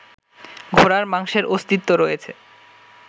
ঘোড়ার মাংসের অস্তিত্ব রয়েছে